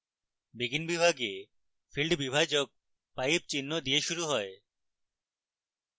begin বিভাগে field বিভাজক pipe চিহ্ন দিয়ে শুরু হয়